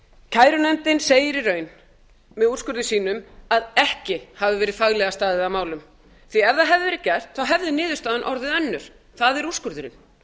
kærunefndin segir í raun með úrskurði sínum að ekki hafi verið faglega staðið að málum því að ef það hefði verið gert hefði niðurstaðan orðið önnur það er úrskurðurinn